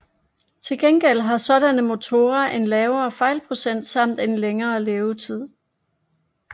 Til gengæld har sådanne motorer en lavere fejlprocent samt en længere levetid